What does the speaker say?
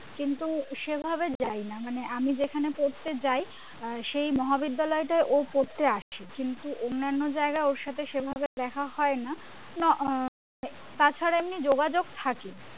কিন্তু সেভাবে যাইনি মানে আমি যেখানে পড়তে যায় সেই মহাবিদ্যালয় টাই ও পড়তে আসে কিন্তু অন্যান্য জায়গায় ওর সাথে সেভাবে দেখা হয় তাছাড়া এমনি যোগাযোগ থাকে